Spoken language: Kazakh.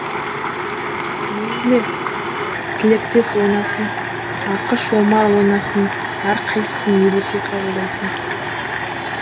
мейлі тілектес ойнасын ақыш омар ойнасын әр қайсысын ерекше қабылдайсың